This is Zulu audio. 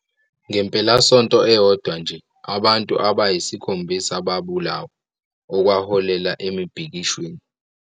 Ngempelasonto eyodwa nje, abantu abayisikhombisa babulawa, okwaholela emibhikishweni.